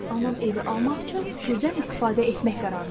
Anam evi almaq üçün sirdən istifadə etmək qərarına gəldi.